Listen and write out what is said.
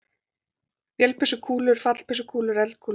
Vélbyssukúlur, fallbyssukúlur, eldkúlur.